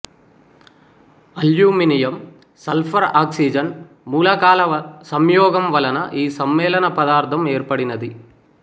aluminium sulphur oxygen మూలకాల సంయోగం వలన ఈసమ్మేళన పదార్థం ఏర్పడినది